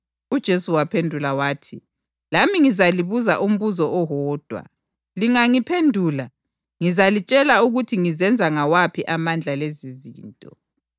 UJesu waphendula wathi, “Lami ngizalibuza umbuzo owodwa. Lingangiphendula, ngizalitshela ukuthi ngizenza ngawaphi amandla lezizinto.